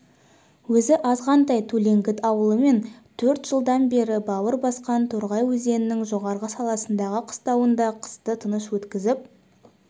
өзі азғантай төлеңгіт ауылы мен төрт жылдан бері бауыр басқан торғай өзенінің жоғарғы сағасындағы қыстауында қысты тыныш өткізіп